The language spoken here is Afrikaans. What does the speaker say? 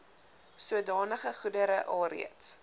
sodanige goedere alreeds